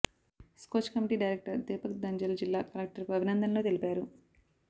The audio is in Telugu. స్కోచ్ కమిటీ డైరెక్టర్ దీపక్ దంజల్ జిల్లా కలెక్టర్కు అభినందనలు తెలిపారు